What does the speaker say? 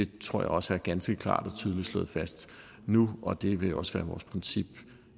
tror jeg også er ganske klart og tydeligt slået fast nu og det vil også være vores princip